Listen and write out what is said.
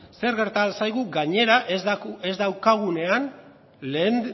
zer gerta ahal zaigun gainera ez daukagunean lehen